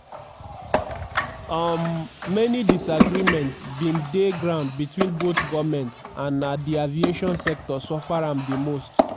um many disagreements bin dey ground between both goments and na di aviation sector suffer am di most.